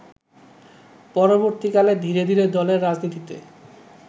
পরবর্তীকালে ধীরে ধীরে দলের রাজনীতিতে